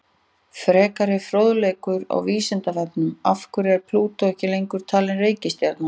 Frekari fróðleikur á Vísindavefnum: Af hverju er Plútó ekki lengur talin reikistjarna?